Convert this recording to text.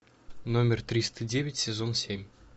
номер триста девять сезон семь